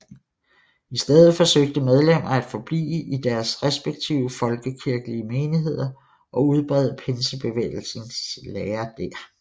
I stedet forsøgte medlemmer at forblive i deres respektive folkekirkelige menigheder og udbrede Pinsebevægelsens lære der